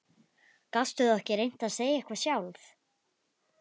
Gastu þá ekki reynt að segja eitthvað sjálf?